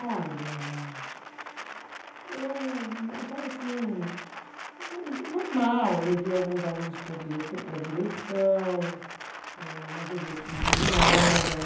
Olha, eu achava assim, normal, levei alguns alunos para a direto, para a direção eh, mas eu via que não dava em nada.